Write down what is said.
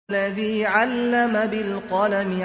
الَّذِي عَلَّمَ بِالْقَلَمِ